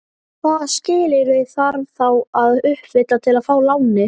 Hvaða skilyrði þarf þá að uppfylla til að fá lánið?